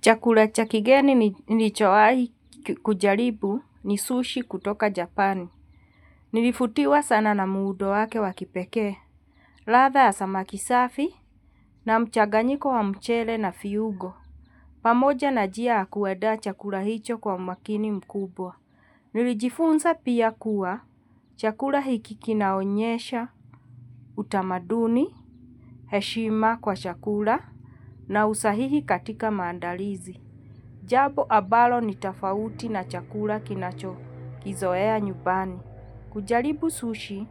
Chakula chakigeni ni lichowahi kujaribu ni sushi kutoka. Japani. Nilivutiwa sana na muundo wake wa kipekee. Ladha ya samaki safi na mchanganyiko wa mchele na viungo. Pamoja na njia ya kuaanda chakula hicho kwa umakini mkubwa. Nilijifunza pia kuwa chakula hiki kinaonyesha, utamaduni, heshima kwa chakula na usahihi katika maandalizi. Jambo ambalo ni tafauti na chakula kinacho kizoea nyumbani. Kujaribu sushi,